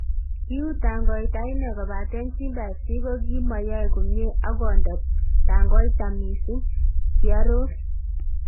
"Kiu tangoita ine kobaten Simba FC kokimoyoe komie ak kondo tangoita mising," kiaror